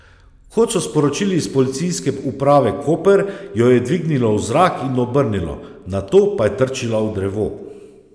Kot so sporočili s Policijske uprave Koper, jo je dvignilo v zrak in obrnilo, nato pa je trčila v drevo.